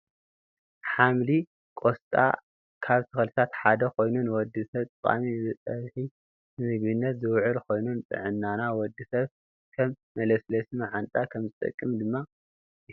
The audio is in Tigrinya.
ሓምሊቆስጣ ካብ ተክልታት ሓደ ኮይኑ ንወዲ ሰብ ጠቃሚ ብፀብሒ ንምግብነት ዝውዕል ኮይኑ፣ ንጥዕና ወዲ ሰብ ከም መለስለሲ ማዓንጣ ከምዝጠቅም ድማ ይፍለጥ።